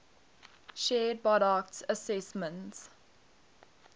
shared burckhardt's assessment